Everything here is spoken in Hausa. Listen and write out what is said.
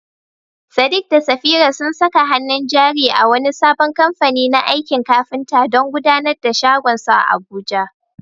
Sadiq da Safira sun saka hannun jari a wani sabon kamfani na aikin kafinta don gudanar da shagonsu a Abuja.